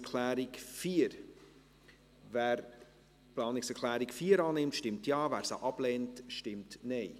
Wer die Planungserklärung 4 der SiK annehmen will, stimmt Ja, wer diese ablehnt, stimmt Nein.